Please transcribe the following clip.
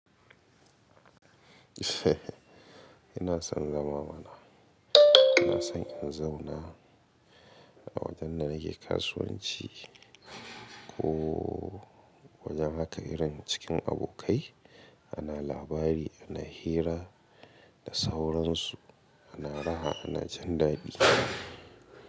Ina son zama mana, ina son in zauna a wajen da nake kasuwanci ko wajen haka irin cikin abokai ana labari ana hira da sauransu ana raha ana jin daɗi.